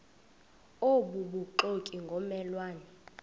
obubuxoki ngomme lwane